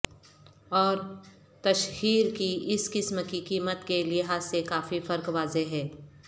اور تشہیر کی اس قسم کی قیمت کے لحاظ سے کافی فرق واضح ہے